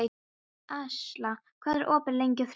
Ásla, hvað er opið lengi á þriðjudaginn?